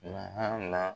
Nahali la